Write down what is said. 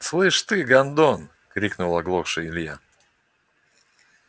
слышь ты гондон крикнул оглохший илья